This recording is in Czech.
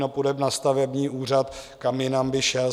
No, půjde na stavební úřad, kam jinak by šel.